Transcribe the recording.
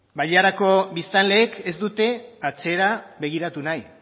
bailarako biztanleek ez dute atzera begiratu nahi